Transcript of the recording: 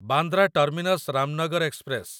Bandra terminus Ramnagar express